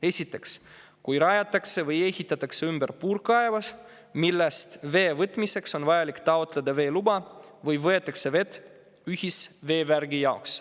Esiteks, kui rajatakse või ehitatakse ümber puurkaev, millest vee võtmiseks on vajalik taotleda veeluba või võetakse vett ühisveevärgi jaoks.